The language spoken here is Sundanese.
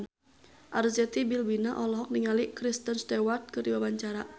Arzetti Bilbina olohok ningali Kristen Stewart keur diwawancara